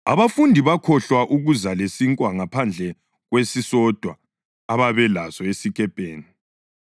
Abafundi bakhohlwa ukuza lesinkwa ngaphandle kwesisodwa ababelaso esikepeni.